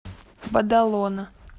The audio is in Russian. бадалона